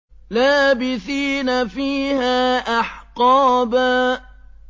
لَّابِثِينَ فِيهَا أَحْقَابًا